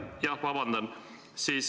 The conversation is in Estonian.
Jah, vabandust!